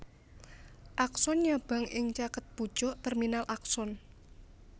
Akson nyabang ing caket pucuk terminal akson